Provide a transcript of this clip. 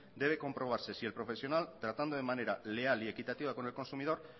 debe comprobarse si el profesional tratando de manera leal y equitativa con el consumidor